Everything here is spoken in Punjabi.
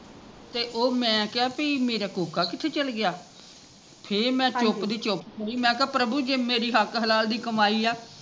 ਤੇ ਉਹ ਮੈਂ ਕਿਹਾ ਪਈ ਮੇਰਾ ਕੋਕਾ ਕਿੱਥੇ ਚੱਲ ਗਿਆ ਫੇਰ ਮੈਂ ਚੁੱਕਦੀ ਚੁੱਕਦੀ ਮੈਂ ਕਿਹਾ ਪ੍ਰਭੂ ਜੇ ਮੇਰੀ ਹੱਕ ਹਲਾਲ ਦੀ ਕਮਾਈ ਆ